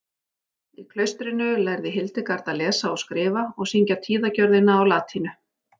Í klaustrinu lærði Hildegard að lesa og skrifa og syngja tíðagjörðina á latínu.